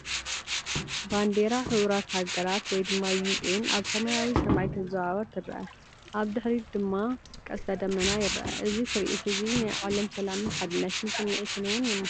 ባንዴራ ሕቡራት ሃገራት (UN) ኣብ ሰማያዊ ሰማይ ክትወዛወዝ ትርአ፡ ኣብ ድሕሪት ድማ ቀስተ ደመና ይርአ። እዚ ትርኢት’ዚ ናይ ዓለም ሰላምን ሓድነትን ስምዒት’ውን የመሓላልፍ።